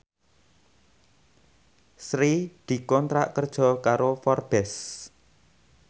Sri dikontrak kerja karo Forbes